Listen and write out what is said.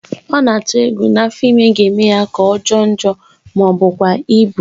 Ọ na-atụ egwu na afọ ime ga-eme ya ka ọ jọọ njọ ma bụkwa ịbụ